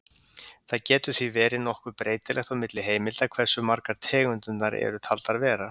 Það getur því verið nokkuð breytilegt á milli heimilda hversu margar tegundirnar eru taldar vera.